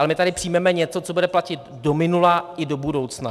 Ale my tady přijmeme něco, co bude platit do minula i do budoucna.